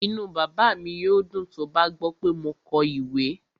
Inú bàbá mi yóò dùn tó bá gbọ́ pé mo kọ ìwé